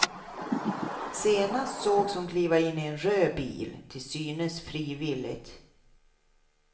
Senast sågs hon kliva in i en röd bil, till synes frivilligt.